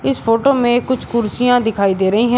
इस फोटो में कुछ कुर्सियां दिखाई दे रही हैं।